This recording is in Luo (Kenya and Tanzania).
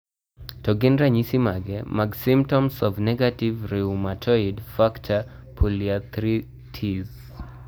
To gin ranyisi mage mag symptoms of Negative rheumatoid factor polyarthritis?